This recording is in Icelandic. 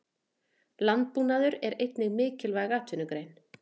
Landbúnaður er einnig mikilvæg atvinnugrein.